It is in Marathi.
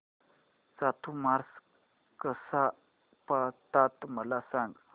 चातुर्मास कसा पाळतात मला सांग